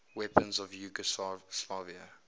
weapons of yugoslavia